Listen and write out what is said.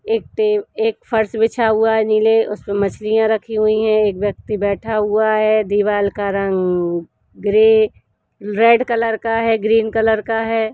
एक-ते एक फर्श बिछा हुआ है नीले उसमे मछलियाँ रखी हुई है एक व्यक्ति बैठा हुआ है दीवाल का रंग ग्रे रेड कलर का है ग्रीन कलर का हैं ।